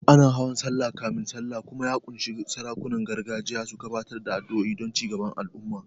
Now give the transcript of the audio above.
Ana hawan Sallah kafin Sallah kuma ya ƙunshi sarakunan gargajiya su gabatar da addu'o'i don cigaban al'umma.